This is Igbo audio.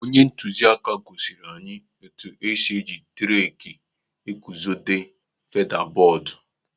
Onye ntụziaka gosiri anyị etu esi eji t-raak eguzobe feda bọọdụ.